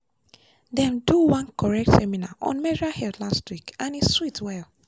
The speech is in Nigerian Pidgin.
dem do one correct seminar on menstrual health last week and e sweet well.